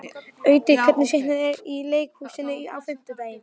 Auddi, hvaða sýningar eru í leikhúsinu á fimmtudaginn?